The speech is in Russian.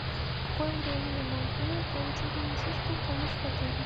в какое время я могу получить медицинскую помощь в отеле